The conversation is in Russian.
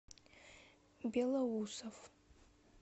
белоусов